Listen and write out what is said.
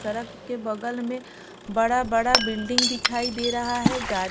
सरक के बगल में बरा बरा बिल्डिंग दिखाई दे रहा है गा --